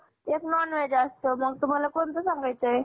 एक non veg असतं मग तुम्हाला कोणतं सांगायच हाय?